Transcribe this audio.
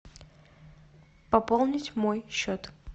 пополнить мой счет